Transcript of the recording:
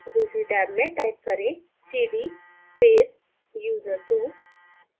दूसरी टैब में type करें cd user2